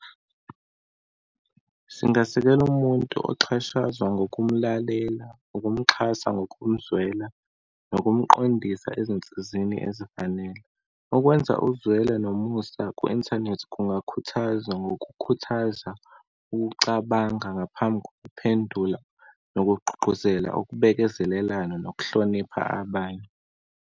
Singasekela umuntu oxhashazwa, ngomkulalela, ukumxhasa ngokumzwela, nokumqondisa ezinsizeni ezifanele. Ukwenza uzwelo nomusa ku-inthanethi kungakhuthaza ngokukhuthaza ukucabanga ngaphambi kokuphendula, nokugqugquzela ukubekezelelana, nokuhlonipha abanye.